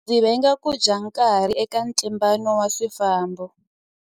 Ndzi venga ku dya nkarhi eka ntlimbano wa swifambo.